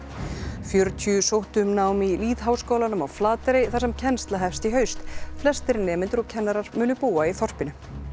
fjörutíu sóttu um nám í lýðháskólanum á Flateyri þar sem kennsla hefst í haust flestir nemendur og kennarar munu búa í þorpinu